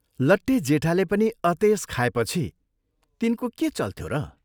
लट्टे जेठाले पनि अतेस खाएपछि तिनको के चल्थ्यो र?